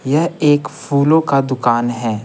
यह एक फूलों का दुकान है।